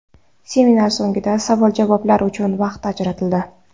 Seminar so‘ngida savol-javoblar uchun vaqt ajratildi.